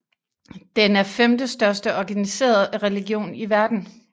Den er femtestørste organiserede religion i verden